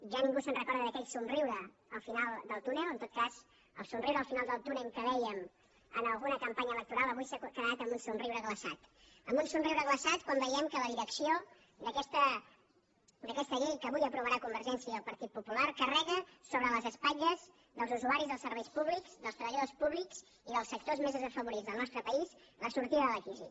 ja ningú se’n recorda d’aquell somriure al final del túnel en tot cas el somriure al final del túnel que vèiem en alguna campanya electoral avui s’ha quedat en un somriure glaçat en un somriure glaçat quan veiem que la direcció d’aquesta llei que avui aprovaran convergència i el partit popular carrega sobre les espatlles dels usuaris dels serveis públics dels treballadors públics i dels sectors més desafavorits del nostre país la sortida de la crisi